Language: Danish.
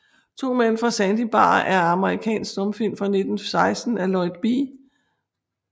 To Mænd fra Sandy Bar er en amerikansk stumfilm fra 1916 af Lloyd B